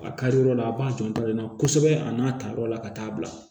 A kari yɔrɔ la a b'a janto min na kosɛbɛ a n'a ta yɔrɔ la ka taa bila